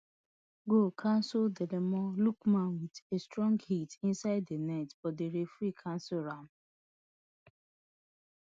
goal cancelledademola lookman wit a strong hit inside di net but di referee cancel am